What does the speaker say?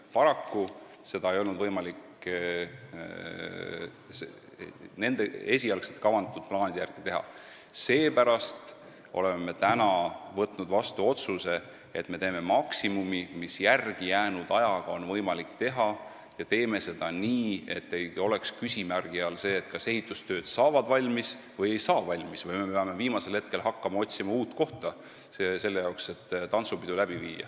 Paraku ei olnud seda enam võimalik esialgsete plaanide järgi teha, seepärast oleme me nüüd võtnud vastu otsuse, et teeme maksimumi, mida on võimalik järelejäänud aja jooksul teha, ja teeme seda nii, et ei oleks küsimärgi all, kas ehitustööd saavad või ei saa valmis, ning me ei pea hakkama viimasel hetkel tantsupeo jaoks uut kohta otsima.